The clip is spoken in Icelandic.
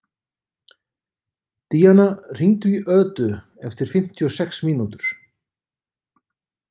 Díanna, hringdu í Ödu eftir fimmtíu og sex mínútur.